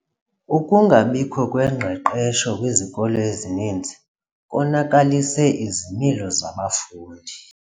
Ukungabikho kwengqeqesho kwizikolo ezininzi konakalise izimilo zabafundi.